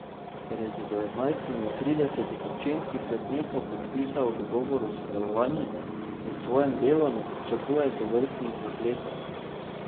Ker je z devetnajstimi od tridesetih občinskih svetnikov podpisal dogovor o sodelovanju, pri svojem delu ne pričakuje tovrstnih zapletov.